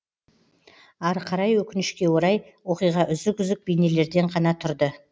ары қарай өкінішке орай оқиға үзік үзік бейнелерден ғана тұрды